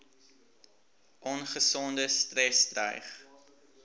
ongesonde stres dreig